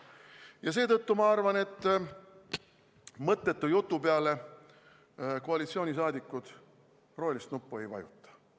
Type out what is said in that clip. Ja seetõttu ma arvan, et mõttetu jutu peale koalitsioonisaadikud rohelist nuppu ei vajuta.